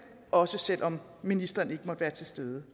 også selv om ministeren ikke måtte være til stede